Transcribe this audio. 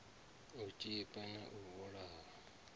u tshipa na u vhulaha